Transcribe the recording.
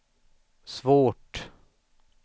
svårt